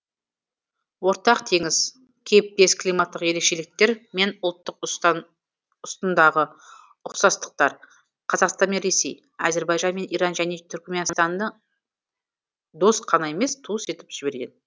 ортақ теңіз кейіптес климаттық ерекшеліктер мен ұлттық ұстындағы ұқсастықтар қазақстан мен ресей әзірбайжан мен иран және түрікменстанды дос қана емес туыс етіп жіберген